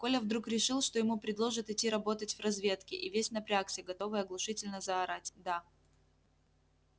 коля вдруг решил что ему предложат идти работать в разведке и весь напрягся готовый оглушительно заорать да